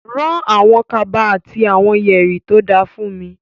Rán àwọn kaba àti àwọn yẹ̀rì tó da fúnmi.